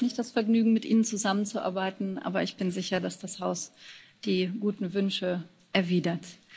Ich hatte jetzt nicht das Vergnügen, mit Ihnen zusammenzuarbeiten, aber ich bin sicher, dass das Haus die guten Wünsche erwidert.